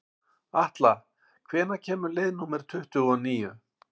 Atla, hvenær kemur leið númer tuttugu og níu?